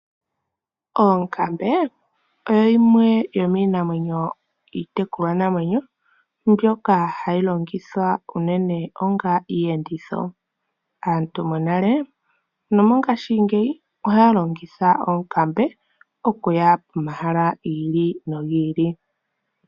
Ookambe oyo yimwe tomiinamwenyo yiitekulwa namwenyo mbtoka hayi longitha unene onga iiyenditho aantu mongashingeyo wo ohaa longitha iiyenditho okuyavpomahala gi ili nogili.